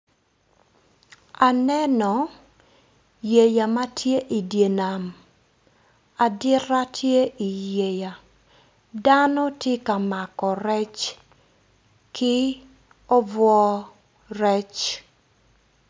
Aneno yeya matye idye nam adita tye i yeya dano tye ka mako rec ki obwo rec